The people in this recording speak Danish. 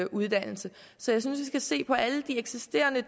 uddannelse så jeg synes vi skal se på alle de